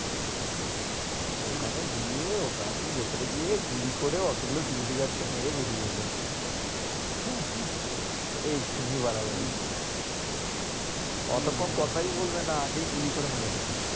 ওখানে গিয়ে party র ভিতরে গিয়ে গুলি করে অতগুলো security guard কে মেরে বেরিয়ে এলো ওটা extremely বাড়াবাড়ি হম অতক্ষণ কোথাই বলবে না আগেই গুলি করে মেরে দেবে।